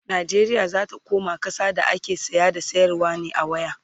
Najeriya zata koma ƙasa da ake saya da sayarwa ne a waya